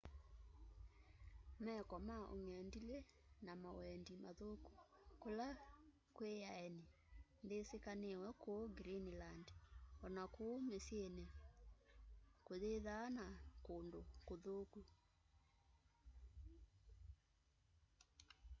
meko ma ũng'endilĩ na mawendĩ mathũkũ kũla kwĩ aenĩ ndĩsĩkanĩwe kũũ greenland ona kũũ mĩsyĩnĩ kũyĩthaa na kũndũ kũthũkũ